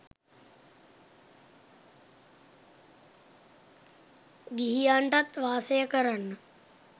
ගිහියන්ටත් වාසය කරන්න